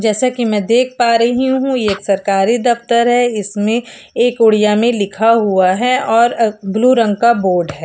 जैसा की में देख पा रही हूँ ये एक सरकारी दफ्तर है इसमें एक उड़िया में लिखा हुआ है और अ ब्लू रंग का बोर्ड है।